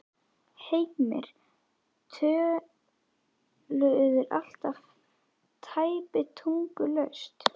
Heimir: Töluðu þeir alltaf tæpitungulaust?